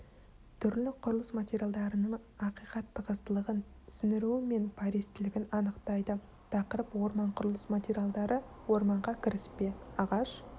түрлі құрылыс материалдарының ақиқат тығыздылығын сіңіруі мен пористілігін анықтайды тақырып орман құрылыс материалдары орманға кіріспе ағаш